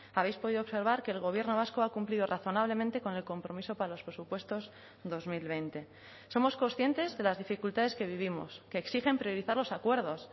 habéis podido observar que el gobierno vasco ha cumplido razonablemente con el compromiso para los presupuestos dos mil veinte somos conscientes de las dificultades que vivimos que exigen priorizar los acuerdos